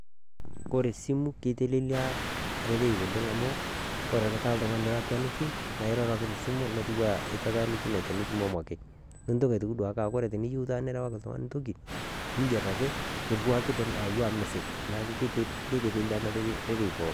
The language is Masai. koree esimu kitelelelia rorei oleng' amu ore taa oltung'ani lilakuaniki niroro ake tesimu netiu enaa itatanikinote enitumomo nintoki ake duo aaku wore niyieu nikirewaki oltungani toki ningerr ake niriwaki akua message neaku kitelelia rorei pookin.